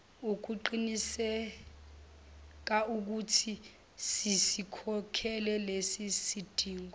ukuqinisekaukuthi sizikhokhele lezizidingo